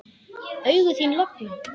Augu þín loga.